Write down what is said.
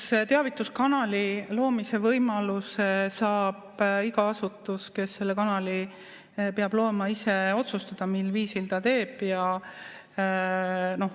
Eks teavituskanali loomise võimaluse puhul saab iga asutus, kes selle kanali peab looma, ise otsustada, mil viisil ta seda teeb.